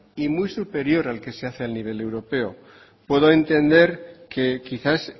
y muy superior al que se hace a nivel europeo puedo entender que quizás